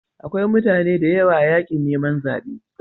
Akwai mutane da yawa a yakin neman zabe.